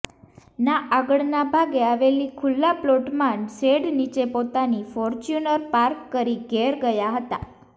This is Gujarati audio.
ના આગળના ભાગે આવેલી ખુલ્લા પ્લોટમાં શેડ નિચે પોતાની ફોર્ચ્યુનર પાર્ક કરી ઘેર ગયાં હતા